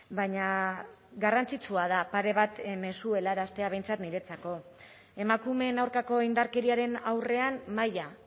baina garrantzitsua da pare bat mezu helaraztea behintzat niretzako emakumeen aurkako indarkeriaren aurrean maila